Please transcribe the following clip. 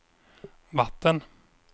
vatten